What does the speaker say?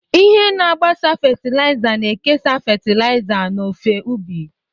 Ihe na-agbasa fatịlaịza na-ekesa fatịlaịza n'ofe ubi.